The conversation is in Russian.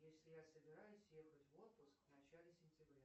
если я собираюсь ехать в отпуск в начале сентября